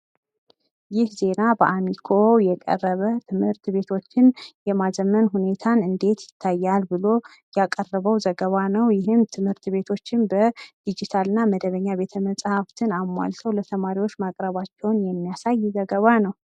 ይህ ዜና በአሚኮ የቀረበ ፤ ትምህርት ቤቶችን የማዘመን ሁኔታ እንዴት ይታያል ብሎ ያቀረበው ዘገባ ነው። ይሄም ትምህርት ቤቶችን በዲጂታል እና መደበኛ ቤተ መጽሃፍትን አሟልቶ ለተማሪዎች ማቅረባቸውን የሚያሳይ ዘገባ ነው።